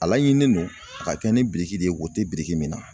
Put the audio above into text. A laɲininen don ,a ka kɛ ni biriki de ye wo teri min na.